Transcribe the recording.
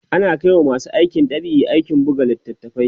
ana Kai wa masu aikin dab'i aikin buga littatafai